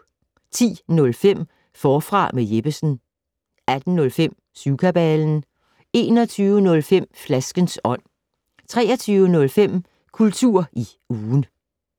10:05: Forfra med Jeppesen 18:05: Syvkabalen 21:05: Flaskens ånd 23:05: Kultur i ugen